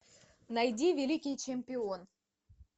найди великий чемпион